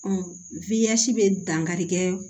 bɛ dankarikɛ